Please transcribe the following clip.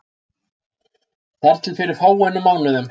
Þar til fyrir fáeinum mánuðum.